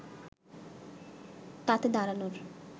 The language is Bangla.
তাতে দাঁড়ানোর